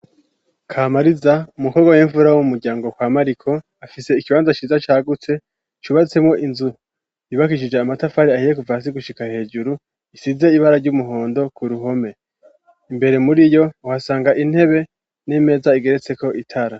Kamariza umukobwa w'imfura m'umuryango kwa Mariko afise ikibanza ciza cagutse cubatsemo inzu yubakishije amatafari ahiye kuva hasi gushika hejuru isize ibara ry'umuhondo ku ruhome imbere muri iyo uhasanga intebe n'imeza igeretse ko itara.